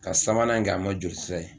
Ka sabanan kɛ a ma jolisira ye